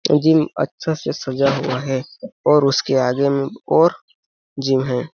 Gym अच्छा से सजा हुआ है और उसके आगे में और जिम है।